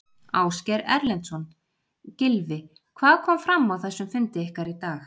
Ásgeir Erlendsson: Gylfi hvað kom fram á þessum fundi ykkar í dag?